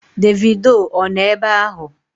Davido ọ nọ ebe ahụ?